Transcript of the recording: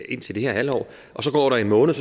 indtil det her halvår og så går der en måned